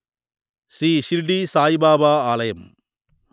శ్రీ షిర్డీ సాయిబాబా ఆలయం